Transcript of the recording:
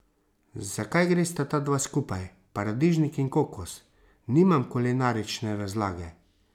Zakaj gresta ta dva skupaj, paradižnik in kokos, nimam kulinarične razlage.